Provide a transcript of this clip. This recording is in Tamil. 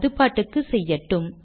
அது பாட்டுக்கு செய்யட்டும்